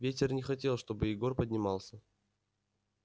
ветер не хотел чтобы егор поднимался